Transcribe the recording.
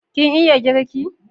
Kin iya girki?